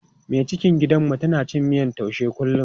Mai cikin gidanmu tana cin miyan taushe kullum.